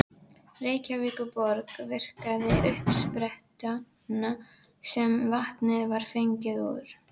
Reykjavíkurborg virkjaði uppsprettuna sem vatnið var fengið úr.